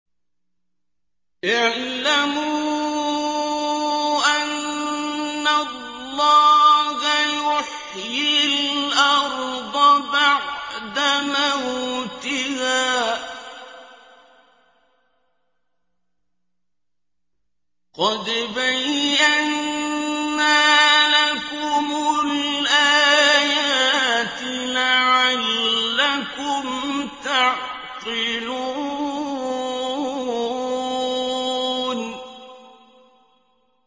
اعْلَمُوا أَنَّ اللَّهَ يُحْيِي الْأَرْضَ بَعْدَ مَوْتِهَا ۚ قَدْ بَيَّنَّا لَكُمُ الْآيَاتِ لَعَلَّكُمْ تَعْقِلُونَ